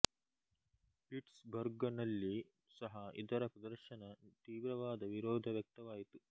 pits ಬರ್ಗ ನಲ್ಲಿ ಸಹ ಇದರ ಪ್ರದರ್ಶನದ ತೀವ್ರವಾದ ವಿರೋಧ ವ್ಯಕ್ತವಾಯಿತು